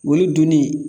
O ye dunni